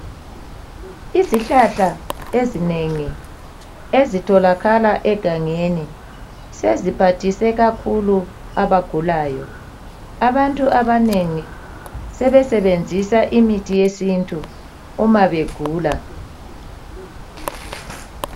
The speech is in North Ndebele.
Izihlahla ezinengi ezitholakala egangeni ,seziphathise kakhulu abagulayo. Abantu abanengi, sebesebenzisa imithi yesintu uma begula.